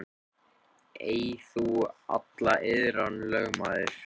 Björn mælti: Eig þú alla iðran, lögmaður.